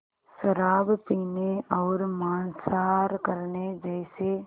शराब पीने और मांसाहार करने जैसे